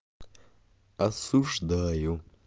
осуждаю